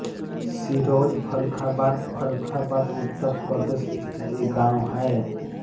सिरौंज फर्रुखाबाद फर्रुखाबाद उत्तर प्रदेश स्थित एक गाँव है